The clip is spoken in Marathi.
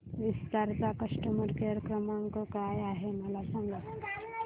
विस्तार चा कस्टमर केअर क्रमांक काय आहे मला सांगा